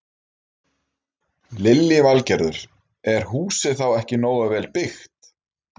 Lillý Valgerður: Er húsið þá ekki nógu vel byggt?